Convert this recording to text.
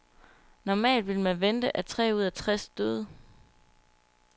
Normalt ville man vente, at tre ud af tres døde.